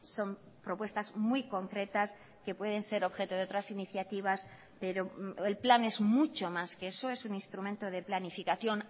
son propuestas muy concretas que pueden ser objeto de otras iniciativas pero el plan es mucho más que eso es un instrumento de planificación